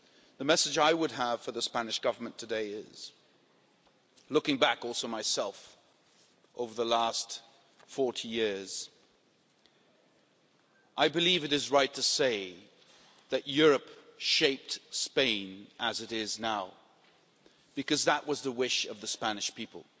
The message I have for the Spanish Government today is looking back over the last 40 years that it is right to say that Europe shaped Spain as it is now, because that was the wish of the Spanish people.